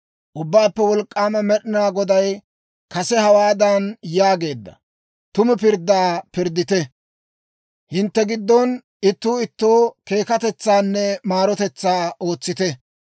«Ubbaappe Wolk'k'aama Med'inaa Goday kase hawaadan yaageedda; ‹Tumu pirddaa pirddite. Hintte giddon ittuu ittoo keekatetsaanne maarotetsaa ootsite.